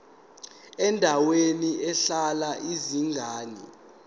endaweni ehlala izingane